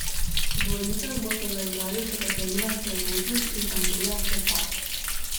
V dvojicah bosta zaigrali še Katarina Srebotnik in Andreja Klepač.